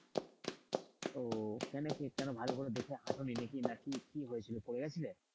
ও কেন কিভাবে ভালো করে দেখে হাঁটনি নাকি কি না কি হয়েছিল পড়ে গিয়েছিলে?